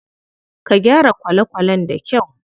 Ka gyara kwale kwalen da kyau.